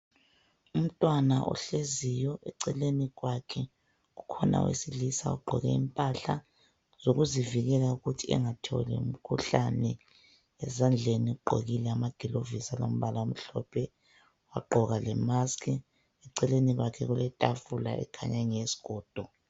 Umntwana ohleziyo eceleni kwakhe kukhona owesilisa ogqoke impahla zokuzivikela ukuthi angatholi umkhuhlane ezandleni ugqokile amagilovisi alombala omhlophe wagqoka lemask eceleni kwakhe kuletafula ekhanya ingeyesigodo.